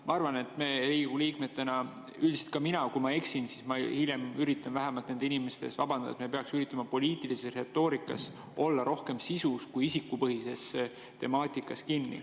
Ma arvan, et me Riigikogu liikmetena – üldiselt ka mina, kui ma eksin, siis ma hiljem üritan vähemalt nende inimeste ees vabandada – peaksime üritama poliitilises retoorikas olla rohkem sisus kui isikupõhises temaatikas kinni.